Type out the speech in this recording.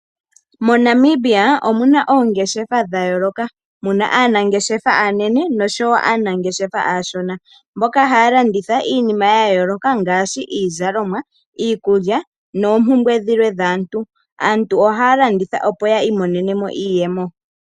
MoNamibia omu na oongeshefa dha yooloka. Mu na aanangeshefa aanene noshowo aanangeshefa aashona mboka haya landitha iinima ya yooloka ngaashi iizalomwa, iikulya noompumbwe dhilwe dhaantu. Aantu ohaya landitha, opo yi imonene mo iiyemo.